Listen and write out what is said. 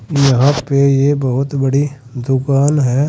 जहां पे यह बहोत बड़ी दुकान है।